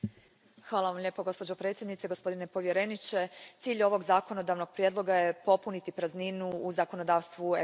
Poštovana predsjedavajuća, gospodine povjereniče, cilj je ovog zakonodavnog prijedloga popuniti prazninu u zakonodavstvu Europske unije.